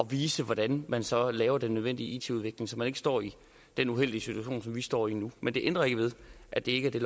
vise hvordan man så laver den nødvendige it udvikling så man ikke står i den uheldige situation som vi står i nu men det ændrer ikke ved at det ikke er det